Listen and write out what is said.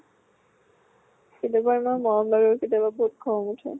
কেতিয়াবা ইমান মৰম লাগে কেতিয়াবা বহুত খং ওঠে।